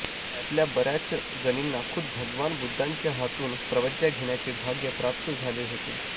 त्यातल्या बऱ्याच जणींना खुद्द भगवान बुद्धांच्या हातून प्रवज्या घेण्याचे भाग्य प्राप्त झाले होते